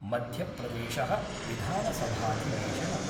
Madhya Pradesh: विधानसभाधिवेशनम्